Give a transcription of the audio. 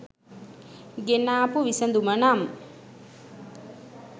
ගෙනාපු විසඳුමනම්